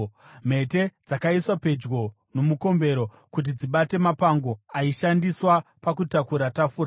Mhete dzakaiswa pedyo nomukombero kuti dzibate mapango aishandiswa pakutakura tafura.